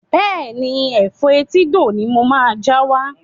Bẹ́ẹ̀ni, Ẹ̀fọ́ etídò ni mo máa já wá.